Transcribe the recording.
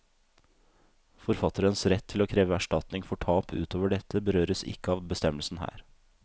Forfatterens rett til å kreve erstatning for tap utover dette, berøres ikke av bestemmelsen her.